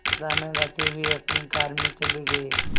गाना गाते हुए अपनी कार में चले गए